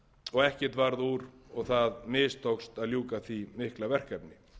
og ekkert varð úr og það mistókst að ljúka því mikla verkefni